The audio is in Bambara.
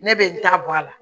Ne bɛ n ta bɔ a la